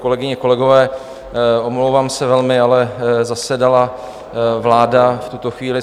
Kolegyně, kolegové, omlouvám se velmi, ale zasedala vláda v tuto chvíli.